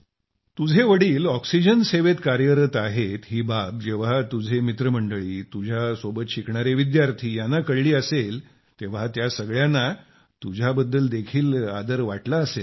तुझे वडील ऑक्सिजन सेवेत कार्यरत आहेत ही बाब जेव्हा तुझे मित्रमंडळी तुझ्या सोबत शिकणारे विद्यार्थी यांना कळली असेल तेव्हा त्या सगळ्यांना तुझ्या बद्दल देखील आदर वाटला असेल ना